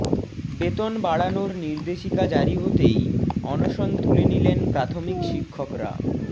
বেতন বাড়ানোর নির্দেশিকা জারি হতেই অনশন তুলে নিলেন প্রাথমিক শিক্ষকরা